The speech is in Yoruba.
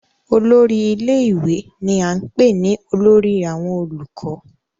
olórí ilé ìwé ni à ń pè ní olórí àwọn olùkọ́